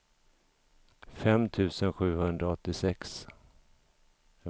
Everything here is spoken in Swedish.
fem tusen sjuhundraåttiosex